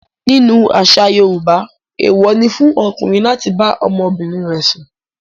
Nínú àṣà Yorùbá, èèwọ̀ ni fún ọkùnrin láti bá ọmọbìnrin rẹ̀ sùn.